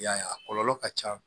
I y'a ye a kɔlɔlɔ ka ca